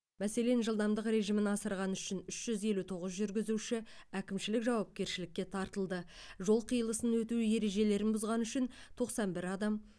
мәселен жылдамдық режимін асырғаны үшін үш жүз елу тоғыз жүргізуші әкімшілік жауапкершілікке тартылды жол қиылысынан өту ережелерін бұзғаны үшін тоқсан бір адам